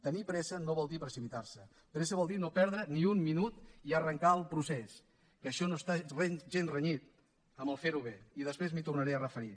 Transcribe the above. tenir pressa no vol dir precipitarse pressa vol dir no perdre ni un minut i arrencar el procés que això no està gens renyit amb ferho bé i després m’hi tornaré a referir